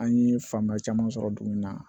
An ye faamuya caman sɔrɔ dugu in na